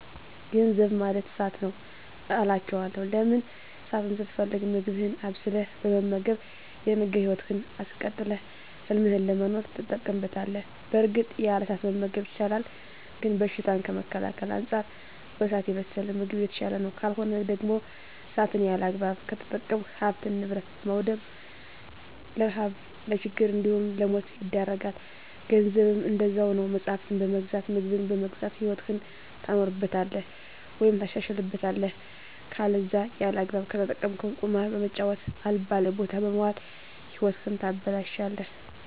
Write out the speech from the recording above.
ገንዘብ ማለት እሳት ነዉ አላቸዋለሁ። ለምን እሳትን ስትፈልግ ምግብህን አብስለህ በመመገብ የነገ ህይወትህን አስቀጥለህ ህልምህን ለመኖር ትጠቀምበታለህ በእርግጥ ያለ እሳት መመገብ ይቻላል ግን በሽታን ከመከላከል አንፃር በእሳት የበሰለ ምግብ የተሻለ ነዉ። ካልሆነ ደግሞ እሳትን ያለአግባብ ከተጠቀምክ ሀብትን ንብረት በማዉደም ለረሀብ ለችግር እንዲሁም ለሞት ይዳርጋል። ገንዘብም እንደዛዉ ነዉ መፅሀፍትን በመግዛት ምግብን በመግዛት ህይወትህን ታኖርበታለህ ወይም ታሻሽልበታለህ ከለዛ ያለአግባብ ከተጠቀምከዉ ቁማር በመጫወት አልባሌ ቦታ በመዋል ህይወትህን ታበላሸለህ።